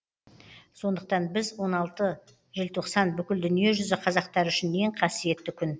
сондықтан біз он алты желтоқсан бүкіл дүниежүзі қазақтары үшін ең қасиетті күн